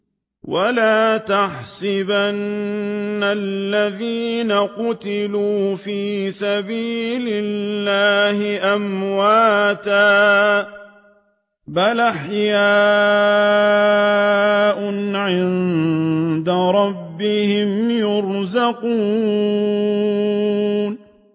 وَلَا تَحْسَبَنَّ الَّذِينَ قُتِلُوا فِي سَبِيلِ اللَّهِ أَمْوَاتًا ۚ بَلْ أَحْيَاءٌ عِندَ رَبِّهِمْ يُرْزَقُونَ